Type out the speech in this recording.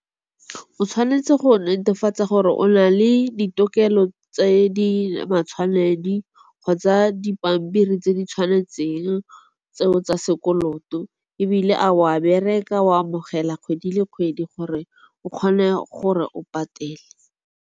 O tshwanetse go netefatsa gore o na le ditokelo tse di matshwanedi kgotsa dipampiri tse di tshwanetseng tseo tsa sekoloto. Ebile a wa bereka o amogela kgwedi le kgwedi gore o kgone gore o patele.